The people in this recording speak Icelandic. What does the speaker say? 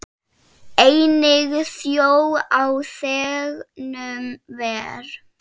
Einnig þjó á þegnum ver.